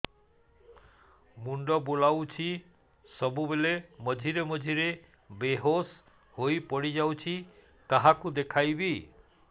ମୁଣ୍ଡ ବୁଲାଉଛି ସବୁବେଳେ ମଝିରେ ମଝିରେ ବେହୋସ ହେଇ ପଡିଯାଉଛି କାହାକୁ ଦେଖେଇବି